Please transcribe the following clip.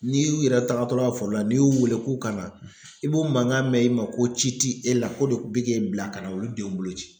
N'i y'u yɛrɛ tagatɔla ye foro la n'i y'u wele k'u ka na i b'u mankan mɛn i ma ko ci ti e la ko de bɛ k'e bila ka na olu denw bolo ci.